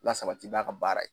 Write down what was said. Lasabati n'a ka baara ye.